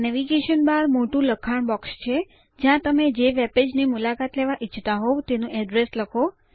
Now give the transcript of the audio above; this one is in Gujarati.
નેવિગેશન બાર મોટું લખાણ બોક્સ છે જ્યાં તમે જે વેબપેજ ની મુલાકાત લેવા ઈચ્છતા હોઉં તેનું એડ્રેસ લખો